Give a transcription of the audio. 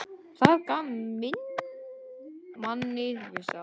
Það gaf manni vissa reisn.